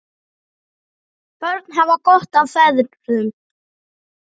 Börn hafa gott af feðrum.